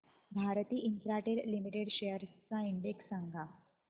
Bharti Infratel limited shares चा index सांगा